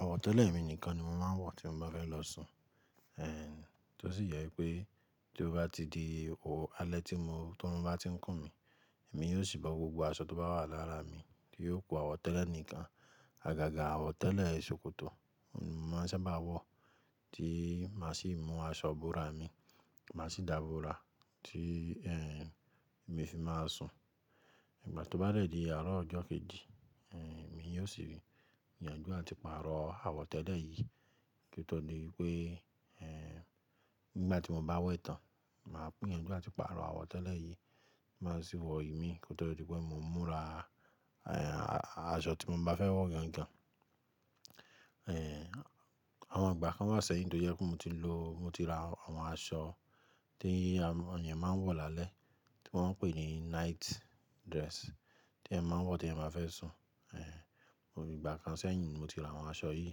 Àwọ̀ tẹ́lẹ̀ mi nìkan ni mo máa ń wọ̀, tí mo bá fẹ́ lọ sùn. Eh, tó sì jẹ wípé tí ó bá ti di alẹ́ tí, orun bá ti ń kùn mí, èmi yóò ṣì bo gbogbo aṣọ tó bá wà lára mi, tí yóò ku àwọ̀ tẹ́lẹ̀ nìkan. Àgàgà àwọ̀ tẹ́lẹ̀ sòkòtò ni mo máa ń sábà wọ̀, tí màá sì mú aṣọ búra mi, màá sì dà búra tí, eh, èmi fi máa sùn. Ìgbà tó bá dẹ́ di àárọ̀ ọjọ́ kejì, eh, èmi yóò sì yanjú àti pàrọ̀ àwọ̀ tẹ́lẹ̀ yìí. Kotọ́ dí pé, eh, nígbà tí mo bá wẹ tán, màá gbi yanjú àti pàrọ̀ àwọ̀ tẹ́lẹ̀ yìí, màá sì wọ ìmi kotọ́ dí pé mo múra, eh, aṣọ tí mo bá fẹ́ wọ̀ gan gan. Eh, àwọn ìgbà kan wa sẹ́yín tó jẹ́ pé mo ti lò, mo ti ra àwọn aṣọ tí eeyẹn máa ń wọ̀ lálẹ́, tí wọ́n ń pè ní night dress, tí èèyàn máa ń wọ̀ tí èèyàn bá fẹ́ sùn. Eh, ìgbà kan sẹ́yìn ni mo ti ra àwọn aṣọ yìí.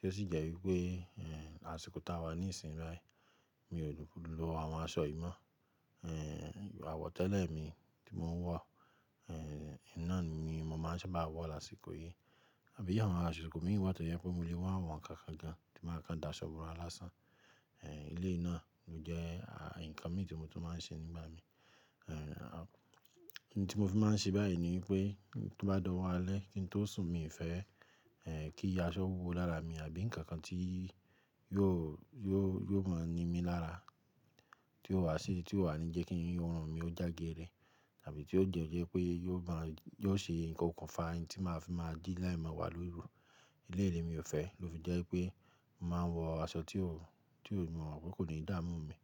Tó sì jẹ́ wípé, eh, lásìkò táa wà ní ìsìn báyìí mi ò lò àwọn aṣọ yìí mọ́. Eh, àwọ̀ tẹ́lẹ̀ mi tí mò ń wọ̀, eh, oun na ni mo máa ń sábà wọ̀ lásìkò yìí. Àbí i àwọn aṣiko mi wà tó jẹ́ pé mo lè wá wọ̀n nkánkan gan tí màá kan dà aṣọ bora lásán. Eh, éleyi náà ló jẹ́ nǹkan mi tí mo tun máa ń ṣe nígbà mi. Ohun tí mo fi máa ń ṣe báyìí ni wípé tí ó bá dọ̀wọ́ alẹ́, kí n tó sùn, mi ò fẹ́, eh, kí aṣọ wúwo lára mi àbí nǹkan kan tí yóò, yóò, yóò máa ni mí lára tí ó wà sí i tí ó wà ní jẹ́ kí orun mi ó já géẹre. Tàbí tí ó jẹ́ pé yóò máa, yió ṣe okùnfà tí màá fi máa ji ni emewa lórù. Eléyi ni mi ò fẹ́, lo fi jẹ́ wípé mo máa ń wọ aṣọ tí mo mọ̀ wípé kò ní dààmú mi.